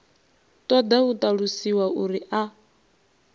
ṱoḓa u ṱalusiwa uri a